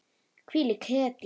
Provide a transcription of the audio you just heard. Hvílík hetja.